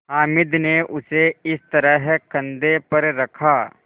हामिद ने उसे इस तरह कंधे पर रखा